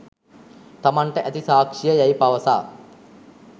තමන්ට ඇති සාක්ෂිය යැයි පවසා